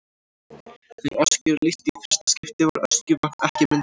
Þegar Öskju er lýst í fyrsta skipti var Öskjuvatn ekki myndað.